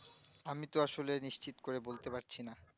আমি তো আসলে নিশ্চিত করে বলতে পারছি না